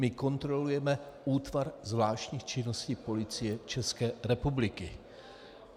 My kontrolujeme útvar zvláštních činností Policie České republiky.